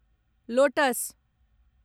lotus